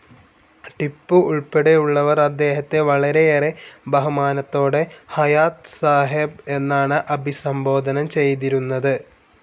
ടിപ്പു ഉൾപ്പടെയുള്ളവർ അദ്ദേഹത്തെ വളരെയേറെ ബഹുമാനത്തോടെ ഹയാത്ത് സാഹേബ് എന്നാണ് അഭിസംബോധനം ചെയ്തിരുന്നത്.